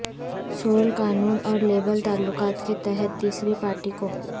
civil قانون اور labour تعلقات کے تحت تیسری پارٹی کو